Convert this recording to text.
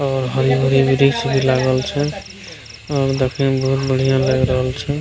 और हरी-हरी वृक्ष भी लागल छै और देखे मे बहुत बढ़ियाँ लएग रहल छै।